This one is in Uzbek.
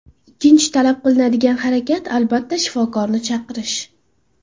Ikkinchi talab qilinadigan harakat, albatta, shifokorni chaqirish.